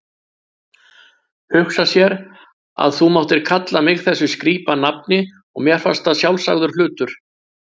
Hugsa sér að þú máttir kalla mig þessu skrípanafni og mér fannst það sjálfsagður hlutur.